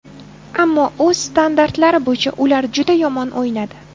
Ammo o‘z standartlari bo‘yicha ular juda yomon o‘ynadi.